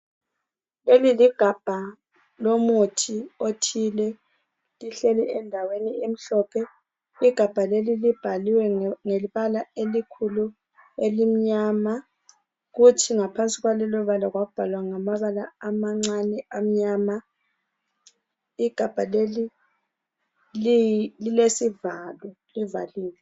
Leli ligabha lomuthi othile, lihleli endaweni emhlophe. Igabha leli libhaliwe nge ngebala elikhulu elimnyama, kuthi ngaphansi kwalelobala kwabhalwa ngamabala amancane amnyama. Igabha leli liyi, lilesivalo livaliwe.